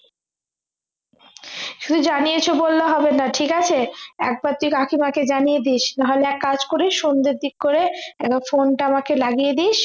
শুধু জানিয়েছ বললে হবে না ঠিক আছে একবার তুই কাকিমাকে জানিয়ে দিস না হলে এক কাজ করিস সন্ধ্যের দিক করে একবার phone টা আমাকে লাগিয়ে দিস